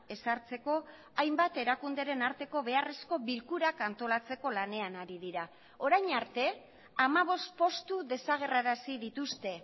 ezartzeko hainbat erakunderen arteko beharrezko bilkurak antolatzeko lanean ari dira orain arte hamabost postu desagerrarazi dituzte